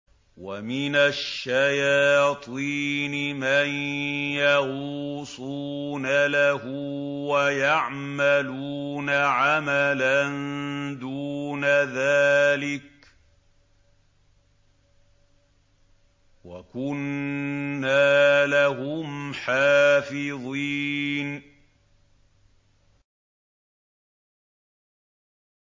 وَمِنَ الشَّيَاطِينِ مَن يَغُوصُونَ لَهُ وَيَعْمَلُونَ عَمَلًا دُونَ ذَٰلِكَ ۖ وَكُنَّا لَهُمْ حَافِظِينَ